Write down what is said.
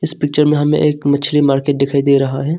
इस पिक्चर में हमें एक मछली मार्केट दिखाई दे रहा है।